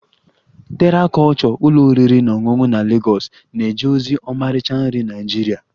Terra kulture ụlọ oriri na ọṅụṅụ na Lagos na-eje ozi ọmarịcha nri Naịjirịa